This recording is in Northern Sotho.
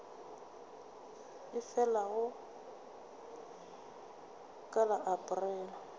e felago ka la aprele